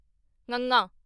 ਙੰਙਾ